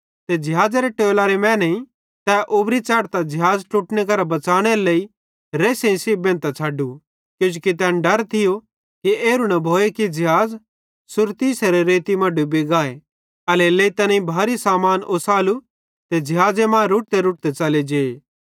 ते ज़िहाज़ेरे टोलरे मैनेईं तै उब्री च़ेढ़तां ज़िहाज़ ट्लुटने करां बच़ानेरे लेइ रेस्सेइं सेइं बेंधतां छ़डू किजोकि तैन डर थियो कि एरू न भोए कि ज़िहाज़ सुरतिसेरे रेती मां डुबी गाए एल्हेरेलेइ तैनेईं भारी सामान ओसालू ते ज़िहाज़े मां रुड़तेरुड़ते च़ले जे